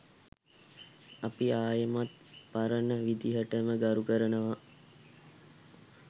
අපි ආයෙමත් පරණ විදිහටම ගරු කරනවා.